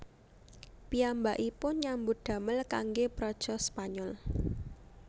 Piyambakipun nyambut damel kanggé praja Spanyol